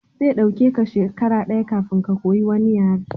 Zai ɗauke ka shekara daya kafin ka koyi wani yare